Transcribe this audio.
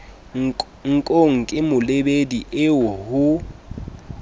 nkong ke molebedi eo ho